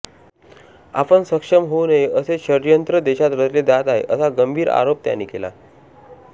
आपण सक्षम होऊ नये असे षडयंत्र देशात रचले जात आहे असा गंभीर आरोप त्याने केला